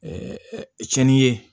cɛni ye